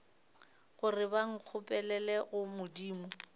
gore ba nkgopelele go modimo